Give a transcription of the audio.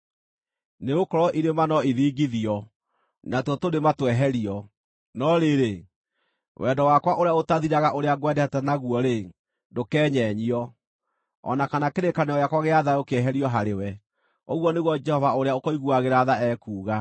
Nĩgũkorwo irĩma no ithingithio, natuo tũrĩma tweherio, no rĩrĩ, wendo wakwa ũrĩa ũtathiraga ũrĩa ngwendete naguo-rĩ, ndũkeenyenyio, o na kana kĩrĩkanĩro gĩakwa gĩa thayũ kĩeherio harĩwe,” ũguo nĩguo Jehova ũrĩa ũkũiguagĩra tha ekuuga.